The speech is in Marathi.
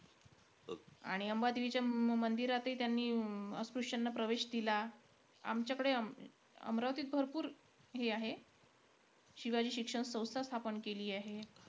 आणि अंबादेवीचे अं मंदिरातही त्यांनी अं अस्पृश्याना प्रवेश दिला. आमच्याकडे अमरावतीत भरपूर हे आहे. शिवाजी शिक्षण संस्था स्थापन केली आहे.